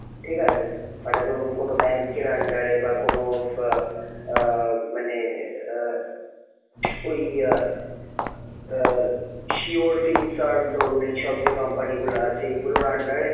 ঠিক আছে? মানে ধরুন কোন bank এর under এ বা কোন আহ আহ মানে আহ ওই আহ আহ sure fill serve ধরুন এইসব যে company গুলা আছে এইগুলোর under এ,